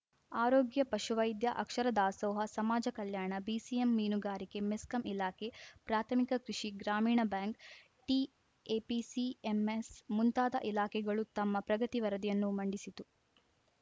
ಆರೋಗ್ಯ ಪಶುವೈದ್ಯ ಅಕ್ಷರ ದಾಸೋಹ ಸಮಾಜ ಕಲ್ಯಾಣ ಬಿಸಿಎಂ ಮೀನುಗಾರಿಕೆ ಮೆಸ್ಕಾಂ ಇಲಾಖೆ ಪ್ರಾಥಮಿಕ ಕೃಷಿ ಗ್ರಾಮೀಣ ಬ್ಯಾಂಕ್‌ ಟಿಎಪಿಸಿಎಂಎಸ್‌ ಮುಂತಾದ ಇಲಾಖೆಗಳು ತಮ್ಮ ಪ್ರಗತಿ ವರದಿಯನ್ನು ಮಂಡಿಸಿತು